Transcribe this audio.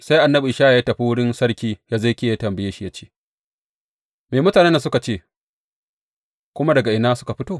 Sai annabi Ishaya ya tafi wurin Sarki Hezekiya ya tambaye shi ya ce, Me mutanen nan suka ce, kuma daga ina suka fito?